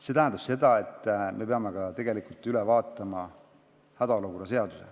See tähendab seda, et me peame hädaolukorra seaduse üle vaatama.